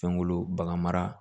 Fɛnkolo bagan mara